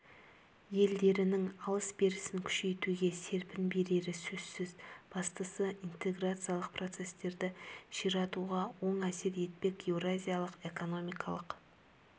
елдерінің алыс-берісін күшейтуге серпін берері сөзсіз бастысы интеграциялық процестерді ширатуға оң әсер етпек еуразиялық экономикалық